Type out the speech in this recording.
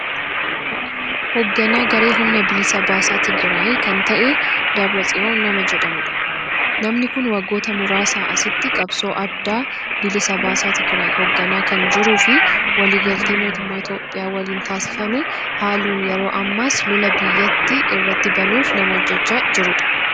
Hogganaa garee humna bilisa baasaa Tigiraay kan ta'e, Dabiratsiyoon nama jedhamudha. Namni kun waggoota muraasa asitti qabsoo adda bilisa baasaa Tigiraay hoogganaa kan jiruu fi waliigaltee mootummaa Itoophiyaa waliin taasifame haaluun yeroo ammaas lola biyyattii irratti banuuf nama hojjechaa jirudha.